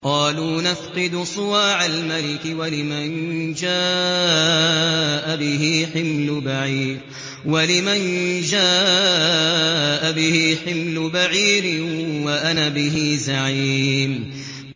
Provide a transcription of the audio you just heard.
قَالُوا نَفْقِدُ صُوَاعَ الْمَلِكِ وَلِمَن جَاءَ بِهِ حِمْلُ بَعِيرٍ وَأَنَا بِهِ زَعِيمٌ